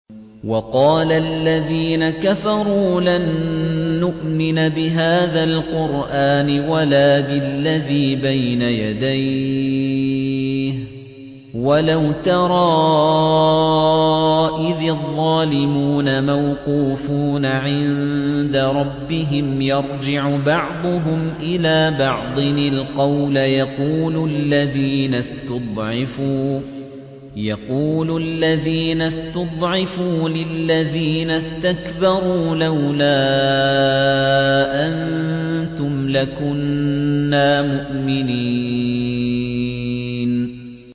وَقَالَ الَّذِينَ كَفَرُوا لَن نُّؤْمِنَ بِهَٰذَا الْقُرْآنِ وَلَا بِالَّذِي بَيْنَ يَدَيْهِ ۗ وَلَوْ تَرَىٰ إِذِ الظَّالِمُونَ مَوْقُوفُونَ عِندَ رَبِّهِمْ يَرْجِعُ بَعْضُهُمْ إِلَىٰ بَعْضٍ الْقَوْلَ يَقُولُ الَّذِينَ اسْتُضْعِفُوا لِلَّذِينَ اسْتَكْبَرُوا لَوْلَا أَنتُمْ لَكُنَّا مُؤْمِنِينَ